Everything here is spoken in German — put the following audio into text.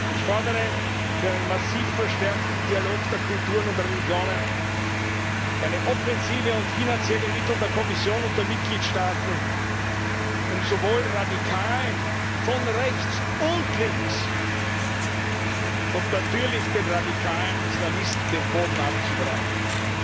Ich fordere für einen massiv verstärkten Dialog der Kulturen und der Religionen eine Offensive und finanzielle Mittel der Kommission und der Mitgliedstaaten, um sowohl Radikalen von rechts und links als natürlich auch den radikalen Islamisten den Boden zu entziehen.